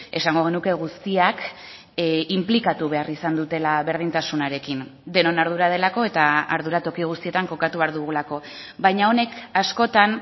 esango genuke guztiak inplikatu behar izan dutela berdintasunarekin denon ardura delako eta ardura toki guztietan kokatu behar dugulako baina honek askotan